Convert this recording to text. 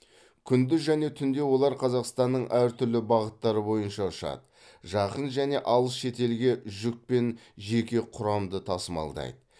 күндіз және түнде олар қазақстанның әр түрлі бағыттары бойынша ұшады жақын және алыс шетелге жүк пен жеке құрамды тасымалдайды